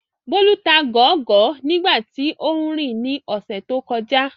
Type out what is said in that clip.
Bólú ta gọ̀ọ́gọ̀ọ́ nígbà tí óún rìn ní ọ̀sẹ̀ tó kọjá